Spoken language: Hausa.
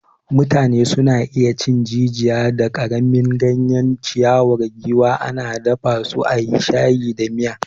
Mutane sun iya cin jijiya da karamin ganyen ciyawar giwa, ana dafa su a yi shayi da miya.